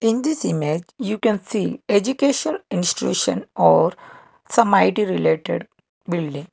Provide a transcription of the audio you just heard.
in this image you can see education institution or some I_T related building.